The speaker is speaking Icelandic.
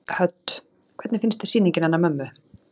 Hödd: Hvernig finnst þér sýningin hennar mömmu?